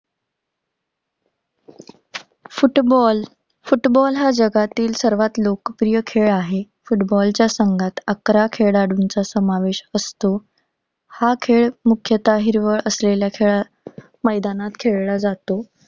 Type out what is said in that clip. Football! Football हा जगातील सर्वात लोकप्रिय खेळ आहे. फुटबॉलच्या संघात अकरा खेळाडूंचा समावेश असतो. हा खेळ मुख्यतः हिरवळ असलेल्या खेळा~ मैदानात खेळला जातो.